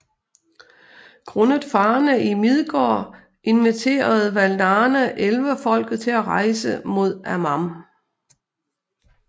Grundet farerne i Midgård inviterede Valarne Elverfolket til at rejse mod Aman